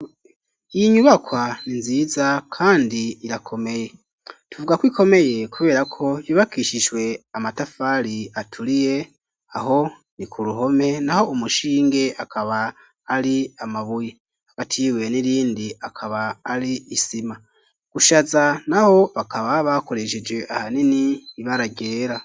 Iyi nyubakwa ni nziza kandi irakomeye tuvuga ko ikomeye kubera ko yubakishijwe amatafari aturiye aho ni ku ruhome naho umushinge akaba ari amabuye hakati y'ibuye n'irindi akaba ari isima, gushaza naho bakaba bakoresheje ahanini ibara ryera.